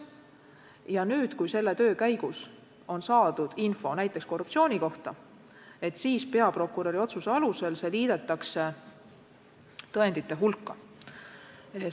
Ja kui selle töö käigus on saadud infot näiteks korruptsiooni kohta, siis peaprokuröri otsuse alusel on see liidetud tõendite hulka.